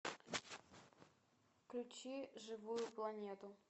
включи живую планету